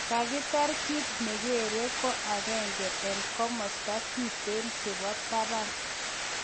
kotiger kit ne geree ko agenge en kamasta kiteen chebo tabaan